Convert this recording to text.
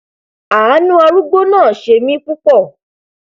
àánú arúgbó náà ṣe mí púpọ